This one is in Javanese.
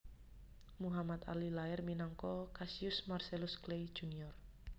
Muhammad Ali lair minangka Cassius Marcellus Clay Jr